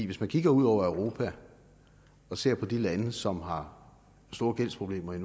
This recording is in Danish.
hvis man kigger ud over europa og ser på de lande som har store gældsproblemer